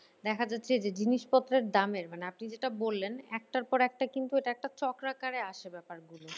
দেখা যাচ্ছে যে জিনিস পত্রের দামের মানে আপনি যেটা বললেন একটার পর একটা কিন্তু এটা একটা চক্রা কারে আসে ব্যাপার গুলো।